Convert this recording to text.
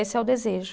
Esse é o desejo.